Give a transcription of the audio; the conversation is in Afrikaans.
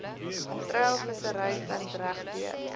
treilvissery vind regdeur